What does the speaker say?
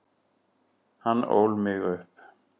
Hann ól mig upp.